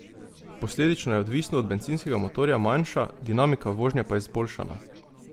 Posledično je odvisno od bencinskega motorja manjša, dinamika vožnje pa izboljšana.